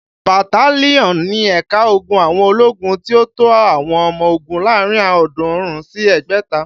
Bataliọnú ni ẹ̀ka ogun àwọn ológun tí ó tó àwọn ọmọ ogún láàárín ọ̀ọ́dúnrún sí ẹgbẹ̀ta